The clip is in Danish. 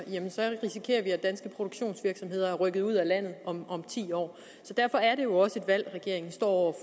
så risikerer vi at danske produktionsvirksomheder er rykket ud af landet om om ti år derfor er det jo også et valg regeringen står